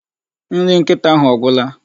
Nri nkita ahụ ọ gwula?